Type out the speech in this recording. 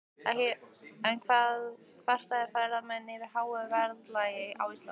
En kvarta ferðamenn yfir háu verðlagi á Íslandi?